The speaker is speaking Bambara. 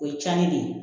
O ye cɛnni de ye